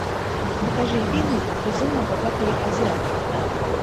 покажи фильмик безумно богатые азиаты